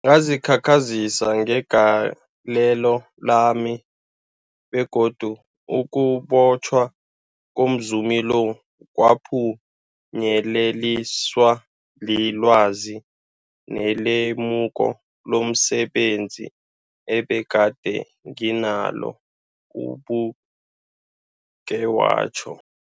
Ngazikhakhazisa ngegalelo lami, begodu ukubotjhwa komzumi lo kwaphunyeleliswa lilwazi nelemuko lomse benzi ebegade nginalo, ubeke watjho.